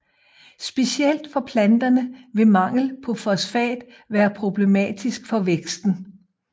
Specielt for planterne vil mangel på fosfat være problematisk for væksten